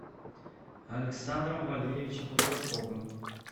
александром валерьевичем рудаковым